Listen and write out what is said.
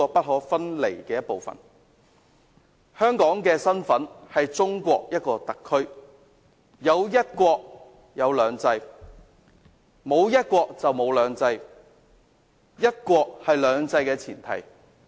香港的身份是中國的一個特區，有"一國"，便有"兩制"，沒有"一國"，便沒有"兩制"，"一國"是"兩制"的前提。